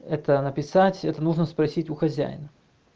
это написать это нужно спросить у хозяина